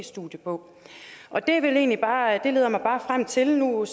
studie om det leder mig bare frem til noget